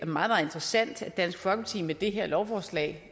meget interessant at dansk folkeparti med det her lovforslag